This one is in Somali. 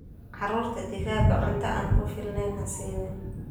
Caruurta digaaga oo cunto aan ku filaney hasanin.